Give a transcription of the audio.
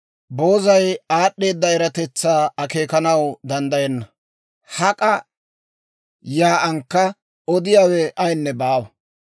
Boozay aad'd'eeda eratetsaa akeekanaw danddayenna; hak'a yaa'ankka odiyaawe ayinne baawa.